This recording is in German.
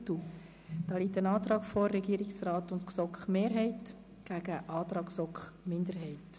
Es liegt der Antrag seitens des Regierungsrats und der GSoK-Mehrheit vor gegen den Antrag der GSoK-Minderheit.